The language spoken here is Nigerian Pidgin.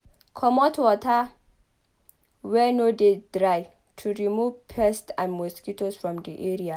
Comot water wey no de dry to remove pests and mosquito for di area